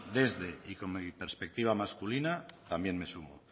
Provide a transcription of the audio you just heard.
desde y con mi perspectiva masculina también me sumo